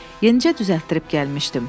Yenicə düzəltdirib gəlmişdim.